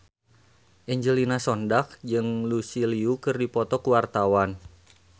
Angelina Sondakh jeung Lucy Liu keur dipoto ku wartawan